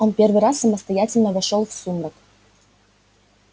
он первый раз самостоятельно вошёл в сумрак